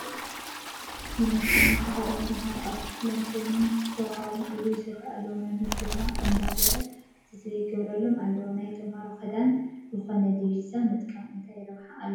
ዩኒፎርም ዝተኸደኑ ተመሃሮ ኣብ ክፍሊ ኮይኖም ዝተዋህቦም ዕዮ ይሰርሑ ኣለዉ፡፡ መምህር ድማ እንዳዞረ ክትትል ይገብሮሎም ኣሎ፡፡ ናይ ተመሃሮ ክዳን ዝኾነ ዲቢዛ ምጥቃም እንታይ ረብሓ ኣለዎ?